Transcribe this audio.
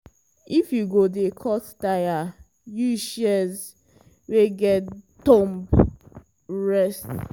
if you go dey cut taya use shears wey get thumb rest so hand no go break.